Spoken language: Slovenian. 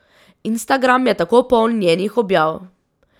Instagram je tako poln njenih objav.